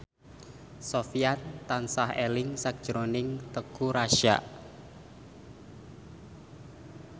Sofyan tansah eling sakjroning Teuku Rassya